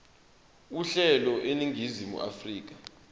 uhlelo eningizimu afrika